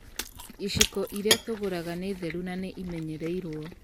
Iciko iria tũgũraga nĩ theru na nĩimenyereirwo.